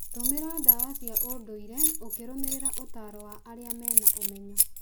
Tũmĩra ndawa cia ũndũire ũkĩrũmĩrĩra ũtaaro wa arĩa mena ũmenyo.